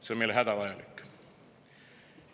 See on meile hädavajalik.